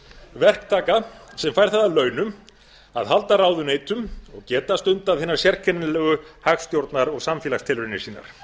verktaka sem fær það að launum að halda ráðuneytum og geta stundað hina sérkennilegu hagstjórnar og samfélagstilraunir sínar